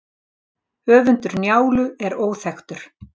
Höfundur Njálu er óþekktur.